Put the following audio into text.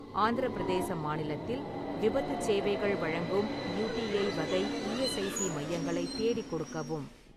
ஆந்திரப் பிரதேச மாநிலத்தில் விபத்துச் சேவைகள் வழங்கும் யுடிஐ வகை ஈஎஸ்ஐசி மையங்களை தேடிக் கொடுக்கவும்.